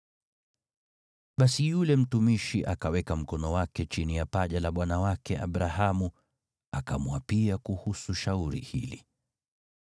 Basi yule mtumishi akaweka mkono wake chini ya paja la bwana wake Abrahamu akamwapia kuhusu shauri hili.